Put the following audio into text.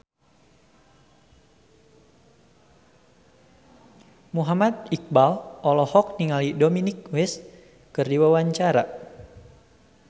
Muhammad Iqbal olohok ningali Dominic West keur diwawancara